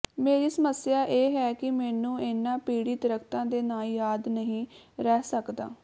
ਮੇਰੀ ਸਮੱਸਿਆ ਇਹ ਹੈ ਕਿ ਮੈਨੂੰ ਇਨ੍ਹਾਂ ਪੀੜ੍ਹੀ ਦਰੱਖਤਾਂ ਦੇ ਨਾਂ ਯਾਦ ਨਹੀਂ ਰਹਿ ਸਕਦਾ